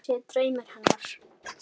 Að ég sé draumur hennar.